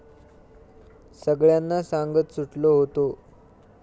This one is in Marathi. सगळ्यांना सांगत सुटलो होतो.